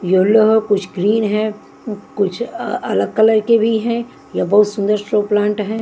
Yellow कुछ green है कुछ अलग कलर के भी हैं यह बहुत सुंदर शो प्लांट हैं।